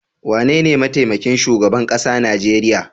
Wanene mataimakin shugaban kasa Najeriya.